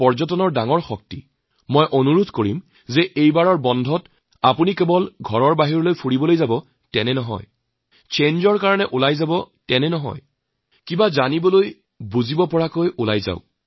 আপোনালোকৰ প্ৰতি মোৰ অনুৰোধ এই বিশাল ভাৰতবৰ্ষত বৈচিত্ৰতাৰ মাজত ঐক্যইয়াক কেৱল শ্নগান হিচাপে নলৈ আমাৰ অপাৰ শক্তিৰ এই ভাণ্ডাৰকে উপলব্ধি কৰক